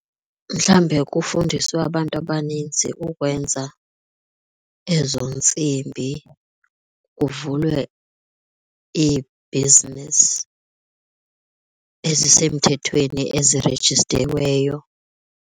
Mhlawumbe kufundiswe abantu abaninzi kukwenza ezo ntsimbi, kuvulwe iibhizinesi ezisemthethweni ezirejistiweyo.